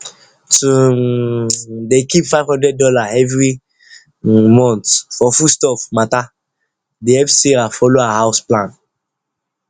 to um dey keep five hundred dollar every um month for foodstuff matter dey help sarah follow her house plan